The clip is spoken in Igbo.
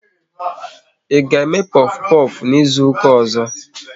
Ị ga eme pofu pofu n'izuka ọzọ?